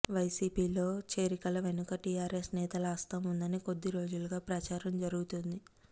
వైసీపీలో చేరికల వెనుక టీఆర్ఎస్ నేతల హస్తం ఉందని కొద్ది రోజులుగా ప్రచారం జరుగుతోంది